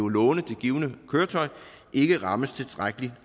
låne det givne køretøj ikke rammes tilstrækkeligt